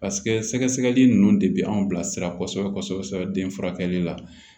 paseke sɛgɛsɛgɛli nunnu de bi anw bilasira kɔsɛbɛ den furakɛ la